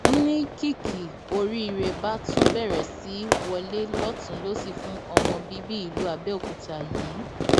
n ní kìkì oríire bá tún bẹrẹ sí í wọlé lọtùnún lósì fún ọmọ bíbí ìlú abẹòkúta yìí